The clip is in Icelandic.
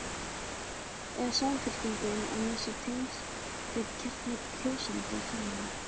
Er Samfylkingin að missa tengsl við kjarna kjósenda sinna?